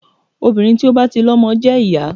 Obìnrin tí ó bá ti lọmọ jẹ́ ìyá.